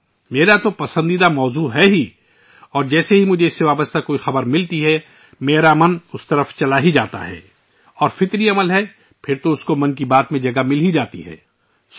یقیناً یہ میرا بھی پسندیدہ موضوع ہے اور جیسے ہی مجھے اس سے متعلق کوئی خبر ملتی ہے، میرا ذہن اس کی طرف مرکوز ہوجاتا ہے اور یہ فطری بات ہے کہ ' من کی بات ' میں اس کا ذکر ضرور ہوتا ہے